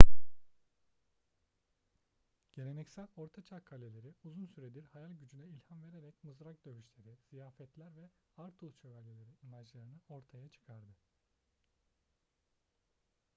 geleneksel ortaçağ kaleleri uzun süredir hayal gücüne ilham vererek mızrak dövüşleri ziyafetler ve arthur şövalyeleri imajlarını ortaya çıkardı